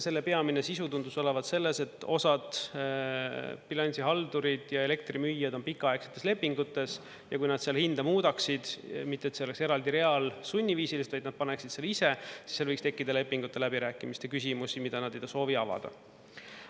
Selle peamine sisu tundus olevat selles, et osad bilansihaldurid ja elektrimüüjad on pikaaegsetes lepingutes ja kui nad seal hinda muudaksid, mitte et see oleks eraldi real sunniviisiliselt, vaid nad paneksid selle ise, siis seal võiks tekkida lepingute läbirääkimiste küsimusi, mida nad ei soovi avada.